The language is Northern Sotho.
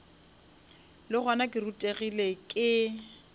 le gona ke rutegile ke